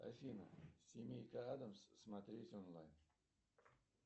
афина семейка адамс смотреть онлайн